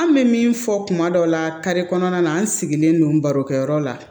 An bɛ min fɔ kuma dɔ la kare kɔnɔna na an sigilen don baro kɛyɔrɔ la